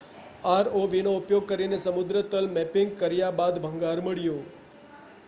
આરઓવીનો ઉપયોગ કરીને સમુદ્રતલ મૅપિંગ કર્યા બાદ ભંગાર મળ્યો